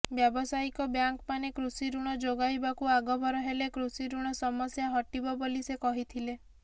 ବ୍ୟାବସାୟିକ ବ୍ୟାଙ୍କମାନେ କୃଷି ଋଣ ଯୋଗାଇବାକୁ ଆଗଭର ହେଲେ କୃଷି ଋଣ ସମସ୍ୟା ହଟିବ ବୋଲି ସେ କହିଥିଲେ